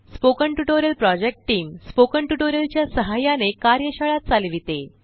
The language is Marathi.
spoken tutorial project team spoken tutorial च्या सहाय्याने कार्यशाळा चालविते